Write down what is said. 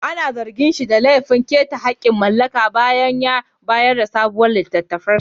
Ana zargin shi da laifin keta hakkin mallaka bayan sayar da sabon littafinsa